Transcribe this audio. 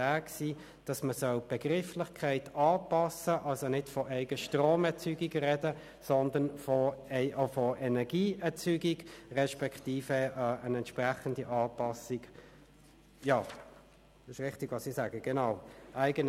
Damit hat man gewisse Retuschen am Gesetzesentwurf vorgenommen, um wirklich eine breite Abstützung sicherzustellen.